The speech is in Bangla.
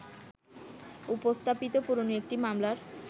উপস্থাপিত পুরোনো একটি মামলার